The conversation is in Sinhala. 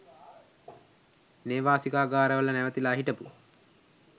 නේවාසිකාගාරවල නැවතිලා හිටපු